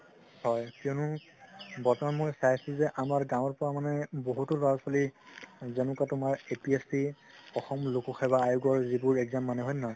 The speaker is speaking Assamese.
হয় কিয়নো বৰ্তমান মই চাইছো যে আমাৰ গাৱৰ পৰা মানে বহুতো লৰা ছোৱালি যেনেকুৱা তুমাৰ APSC অসম লোকসেৱা আয়ো যিবোৰ exam মানে হয় নে নহয়